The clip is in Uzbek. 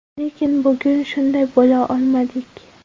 Lekin bugun shunday bo‘la olmadik.